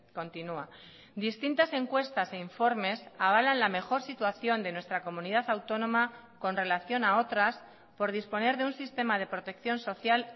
continua distintas encuestas e informes avalan la mejor situación de nuestra comunidad autónoma con relación a otras por disponer de un sistema de protección social